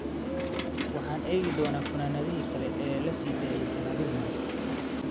Waxaan eegi doonaa funaanadaha kale ee la sii daayay sanadihii hore.